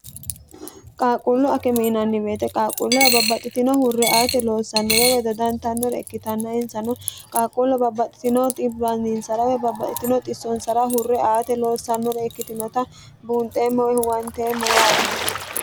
qaaqquullu akime yinanni woyiite qaaqquulleho babbaxxitino hurre aate loossannore woy dodantannore ikkitanna insano qaaqquule babbaxxitino xiwaninsara woy babbaxitino xissonsara hurre aate loossannore ikkitinota buunxeemmoe huwanteemmo yaate.